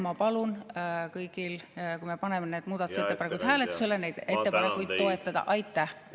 Ma palun kõigil, kui me paneme need muudatusettepanekud hääletusele, neid ettepanekuid toetada!